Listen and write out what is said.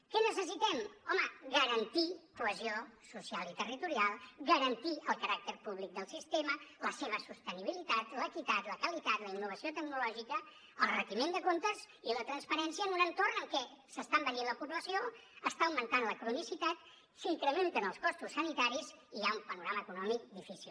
què necessitem home garantir cohesió social i territorial garantir el caràcter públic del sistema la seva sostenibilitat l’equitat la qualitat la innovació tecnològica el retiment de comptes i la transparència en un entorn en què s’està envellint la població està augmentant la cronicitat s’incrementen els costos sanitaris i hi ha un panorama econòmic difícil